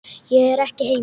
Ég er ekki heima